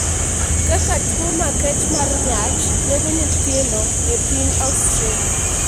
Kaka tuwo makech mar nyach nego nyithindo e piny Australia